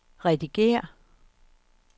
redigér